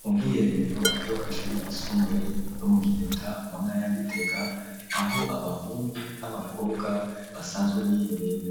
mu bw'iherero ryo kuishuri ryisumbuye ryo mu giheta mu ntaya gitega aho abahungu n'abakobwa basanzwe biherera